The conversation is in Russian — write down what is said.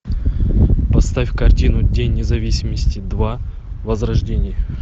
поставь картину день независимости два возрождение